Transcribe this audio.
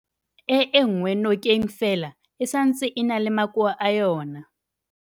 e enngwe nokeng fela e santse e na le makoa a yona.